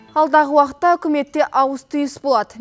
алдағы уақытта үкіметте ауыс түйіс болады